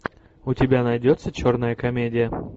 у тебя найдется черная комедия